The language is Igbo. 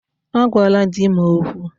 Agwala di m okwu!